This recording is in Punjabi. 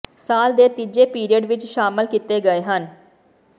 ਸਾਲ ਦੇ ਤੀਜੇ ਪੀਰੀਅਡ ਵਿੱਚ ਸ਼ਾਮਿਲ ਕੀਤੇ ਗਏ ਹਨ